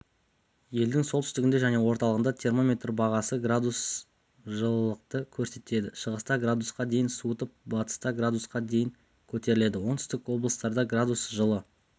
елдің солтүстігінде және орталығында термометр бағаны градус жылылықты көрсетеді шығыста градусқа дейін суытып батыста градусқа дейін көтеріледі оңтүстік облыстарда градус жылы